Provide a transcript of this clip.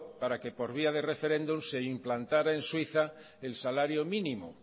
para que por vía de referéndum se implantara en suiza el salario mínimo